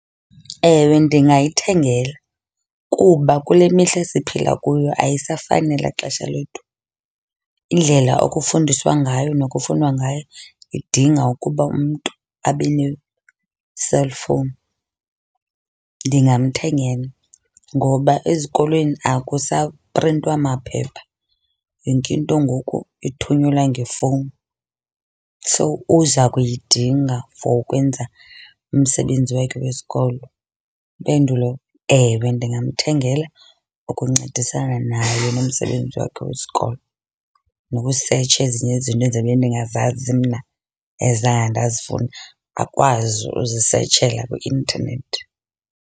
Ewe, ndingayithengela kuba kule mihla siphila kuyo ayisafani nelaa xesha lethu. Indlela okufundiswa ngayo nokufundwa ngayo idinga ukuba umntu abe ne-cellphone. Ndingamthengela ngoba ezikolweni akusaprintwa maphepha, yonke into ngoku ithunyelwa ngefowuni. So uza kuyidinga for ukwenza umsebenzi wakhe wesikolo. Impendulo ewe, ndingamthengela ukuncedisana naye nomsebenzi wakhe wesikolo, nokusetsha ezinye izinto endizobe ndingazazi mna ezange ndazifunda akwazi uzisetshela kwi-intanethi.